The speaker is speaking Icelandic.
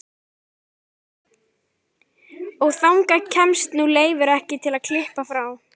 Og þangað kemst nú Leifur ekki til að klippa frá.